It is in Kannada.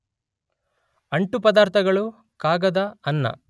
ಅಂಟುಪದಾರ್ಥಗಳು, ಕಾಗದ, ಅನ್ನ